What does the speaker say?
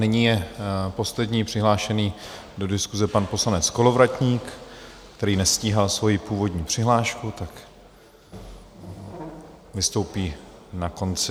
Nyní je poslední přihlášený do diskuse pan poslanec Kolovratník, který nestíhal svoji původní přihlášku, tak vystoupí na konci.